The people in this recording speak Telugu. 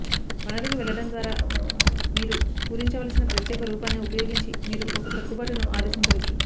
వనరుకి వెళ్లడం ద్వారా మీరు పూరించవలసిన ప్రత్యేక రూపాన్ని ఉపయోగించి మీరు ఒక సర్దుబాటును ఆదేశించవచ్చు